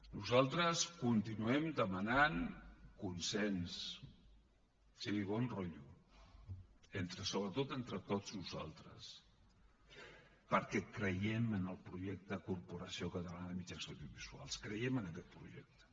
nosaltres continuem demanant consens sí bon rotllo sobretot entre tots nosaltres perquè creiem en el projecte corporació catalana de mitjans audiovisuals creiem en aquest projecte